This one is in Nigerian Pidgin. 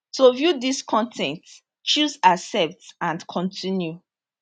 to view dis con ten t choose accept and continue